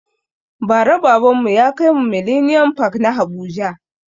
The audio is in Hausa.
Ba ra baban mu ya kaimu millennium park na habuja